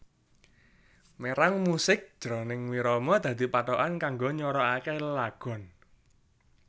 Mérang musik jroning wirama dadi pathokan kanggo nywaraké lelagon